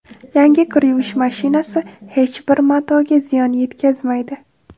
Yangi kir yuvish mashinasi hech bir matoga ziyon yetkazmaydi.